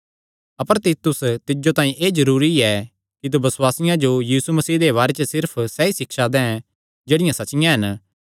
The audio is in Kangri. अपर तीतुस तिज्जो तांई एह़ जरूरी ऐ कि तू बसुआसियां जो यीशु मसीह दे बारे च सिर्फ सैई सिक्षां दे जेह्ड़ियां सच्चियां हन